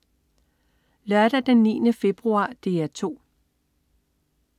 Lørdag den 9. februar - DR 2: